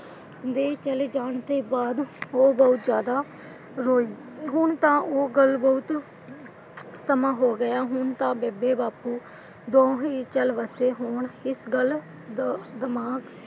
ਦੇ ਚਲੇ ਜਾਣ ਤੋਂ ਬਾਅਦ ਉਹ ਬਹੁਤ ਜਿਆਦਾ ਰੋਈ। ਹੁਣ ਤਾਂ ਉਹ ਗੱਲ ਬਹੁਤ ਸਮਾਂ ਹੋ ਗਿਆ। ਹੁਣ ਤਾਂ ਬੇਬੇ ਬਾਪੂ ਦੋਹੇਂ ਚੱਲ ਵਸੇ ਹੋਣ। ਇਸ ਗੱਲ ਦਾ ਦਿਮਾਗ,